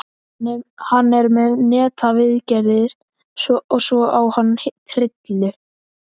Hann er með netaviðgerðir og svo á hann trillu.